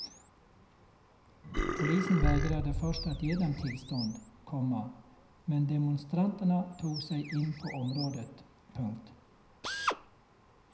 Polisen vägrade först att ge dem tillstånd, komma men demonstranterna tog sig in på området. punkt